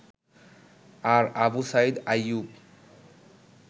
আর Abu Sayeed Ayub